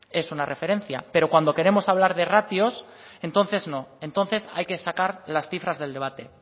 es una referencia pero cuando queremos hablar de ratios entonces no entonces hay que sacar las cifras del debate